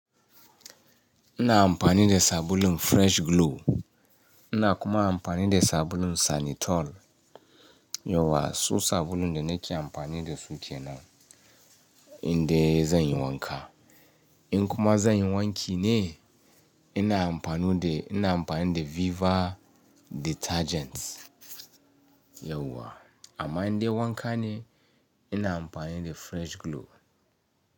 Ina amfani da sabulun Fresh Glow. Ina kuma amfani da sabulun Sanytol. Yauwa, su sabulun da nake amfani da su kenan. Inde zan yi wanka. In kuma zan yi wanki ne, ina amfanu de, ina amfani da Viva Detergents. Yauwa, amma inde wanka ne, ina amfani da Fresh Glow.